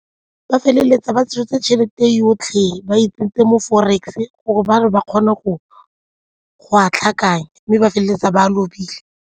Ba feleletsa ba tshotse tšhelete yotlhe ba itsentse mo forex gore ba re ba kgone go a tlhakanya mme ba feleletsa ba lobile.